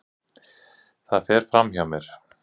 Það fer fram hjá mér.